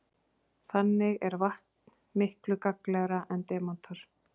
Þannig er vatn miklu gagnlegra en demantar.